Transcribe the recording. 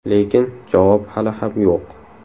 Lekin javob hali ham yo‘q.